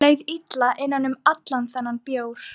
Mér leið illa innan um allan þennan bjór.